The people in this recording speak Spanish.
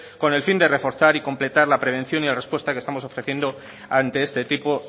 con el fin de reforzar y completar la prevención y la respuesta que estamos ofreciendo ante este tipo